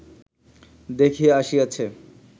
দেখিয়া আসিয়াছে